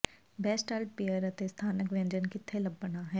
best alt beer ਅਤੇ ਸਥਾਨਕ ਵਿਅੰਜਨ ਕਿੱਥੇ ਲੱਭਣਾ ਹੈ